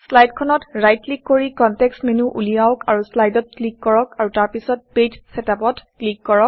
শ্লাইডখনত right click কৰি context menu উলিয়াওক আৰু শ্লাইড শ্লাইডত ক্লিক কৰক আৰু তাৰ পিছত পেজ Setupপেজ চেটআপ ত ক্লিক কৰক